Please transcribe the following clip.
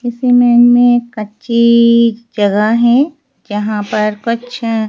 इसमें कच्ची जगह है जहां पर कुछ--